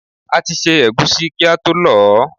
A ti ṣẹ́ ẹ̀gúsí kí ató lọ̀ọ́.